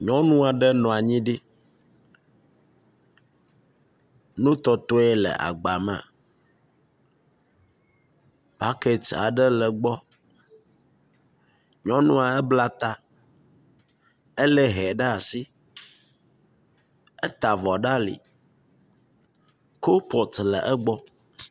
Nyɔnu aɖe nɔ anyi ɖi. Nu tɔtɔe le agba me. Bɔkiti aɖe le egbɔ. Nyɔnua bla ta. Elé hɛ ɖe asi. Eta vɔ ɖe ali. Kubɔtu le egbɔ.